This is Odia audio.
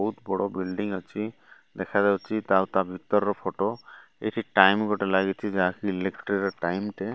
ବୋହୁତ୍ ବଡ଼ ବିଲ୍ଡିଂ ଅଛି ଦେଖାଯାଉଚି ଆଉ ତା ଭିତରର ଫଟୋ ଏଠି ଟାଇମ୍ ଗୋଟେ ଲାଗିଚି ଯାହାକି ଇଲେକ୍ଟ୍ରିର ଟାଇମ ଟେ।